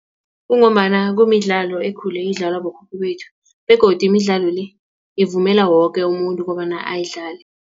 Kungombana kumidlalo ekhule idlalwa bokhokho bethu begodu imidlalo le ivumela woke umuntu kobana ayidlale.